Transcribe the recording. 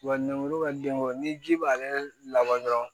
Wa lemuru ka denko ni ji b'ale labɔ dɔrɔn